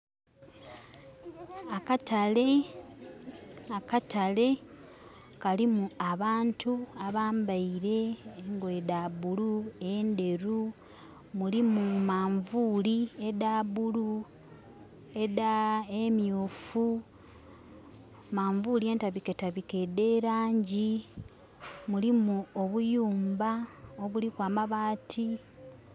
Akatale, Akatale. Kalimu abantu abambaire engoye dha bulu nenderu. Mulimu manvuli edha bulu ne myufu, manvuli entabiketabike edhe langi, mulimu obuyumba obulliku amabaati